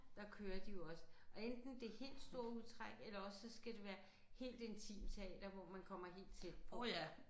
Der kører de jo også og enten det helt store udtræk eller også så skal det være helt intimteater hvor man kommer helt tæt på